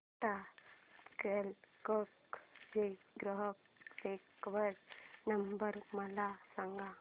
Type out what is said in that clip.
Tata Cliq चा ग्राहक देखभाल नंबर मला सांगा